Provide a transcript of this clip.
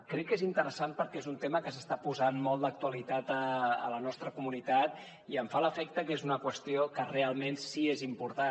crec que és interessant perquè és un tema que s’està posant molt d’actualitat a la nostra comunitat i em fa l’efecte que és una qüestió que realment sí que és important